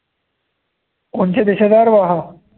कोणत्या देशाचा आहे रे भाऊ हा